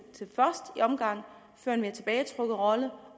føre en mere tilbagetrukket rolle og